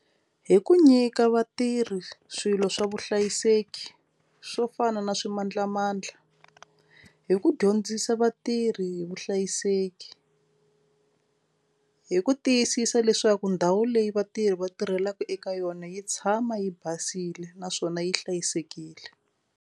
Hi ku nyika vatirhi swilo swa vuhlayiseki swo fana na swimandlamandla hi ku dyondzisa vatirhi hi vuhlayiseki hi ku tiyisisa leswaku ndhawu leyi vatirhi va tirhelaka eka yona yi tshama yi basile naswona yi hlayisekile.